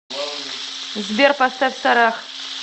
сбер поставь сарах